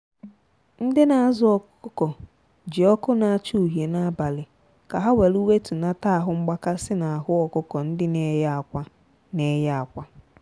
ndị na azụ ọkụkọ ji ọkụ na acha uhie n'abali ka ha welu wetunata ahụ mgbakasi na ahu ọkụkọ ndị na eye akwa. na eye akwa.